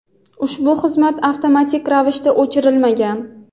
ushbu xizmat avtomatik ravishda o‘chirilmagan.